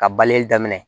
Ka balili daminɛ